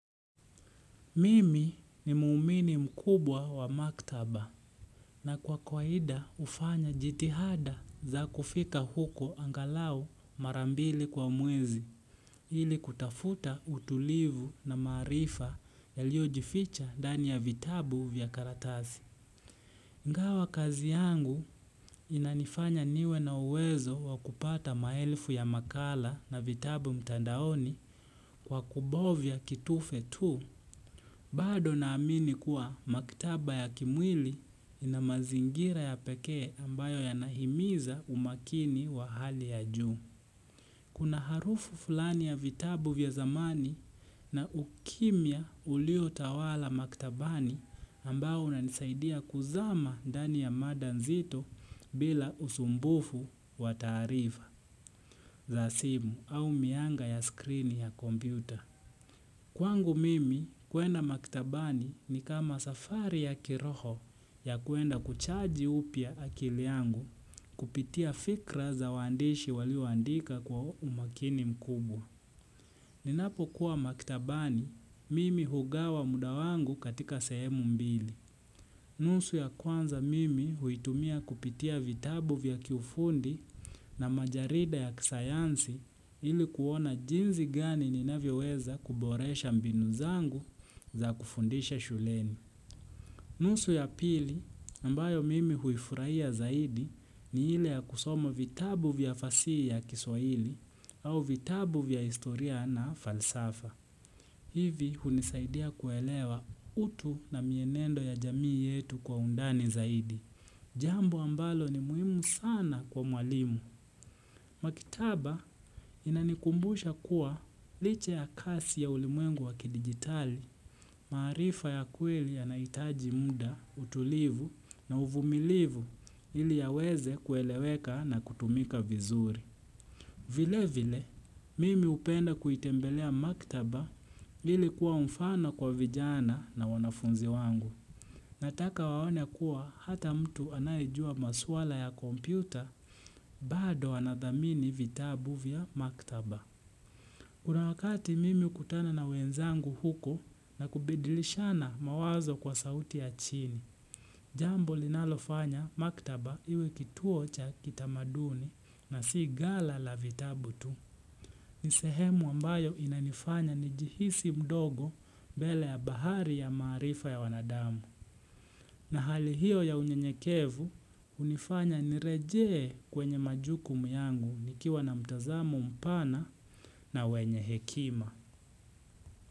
Mimi ni muumini mkubwa wa maktaba na kwa kwaida ufanya jitihada za kufika huko angalau marambili kwa mwezi ili kutafuta utulivu na maarifa yalio jificha ndani ya vitabu vya karatasi. Ingawa kazi yangu inanifanya niwe na uwezo wa kupata maelfu ya makala na vitabu mtandaoni kwa kubovya kitufe tu. Bado naamini kuwa maktaba ya kimwili inamazingira ya pekee ambayo yanahimiza umakini wa hali ya juu. Kuna harufu fulani ya vitabu vya zamani na ukimya uliotawala maktabani ambayo unanisaidia kuzama ndani ya mada nzito bila usumbufu wa taarifa za simu au mianga ya skrini ya kompiuta. Kwangu mimi kuenda makitabani ni kama safari ya kiroho ya kuenda kuchaji upya akili yangu kupitia fikra za waandishi walioandika kwa umakini mkubwa. Ninapo kuwa maktabani mimi hugawa muda wangu katika sehemu mbili. Nusu ya kwanza mimi huitumia kupitia vitabu vya kiufundi na majarida ya kisayansi ili kuona jinsi gani ninavyoweweza kuboresha mbinu zangu za kufundisha shuleni. Nusu ya pili ambayo mimi huifurahia zaidi ni ile ya kusoma vitabu vya fasihi ya kiswaili au vitabu vya historia na falsafa. Hivi hunisaidia kuelewa utu na mienendo ya jamii yetu kwa undani zaidi. Jambo ambalo ni muhimu sana kwa mwalimu. Maktaba inanikumbusha kuwa licha ya kasi ya ulimwengu wa kidigitali, maarifa ya kweli yanahitaji muda, utulivu na uvumilivu ili yaweze kueleweka na kutumika vizuri. Vile vile, mimi upenda kuitembelea maktaba ili kuwa mfano kwa vijana na wanafunzi wangu. Nataka waone kuwa hata mtu anayejua maswala ya kompyuta bado anadhamini vitabu vya maktaba. Kuna wakati mimi ukutana na wenzangu huko na kubadilishana mawazo kwa sauti ya chini, jambo linalofanya maktaba iwe kituo cha kitamaduni na si gala la vitabu tu. Ni sehemu ambayo inanifanya nijihisi mdogo mbele ya bahari ya maarifa ya wanadamu. Na hali hiyo ya unyenyekevu unifanya nirejee kwenye majukumu yangu nikiwa na mtazamo mpana na wenye hekima.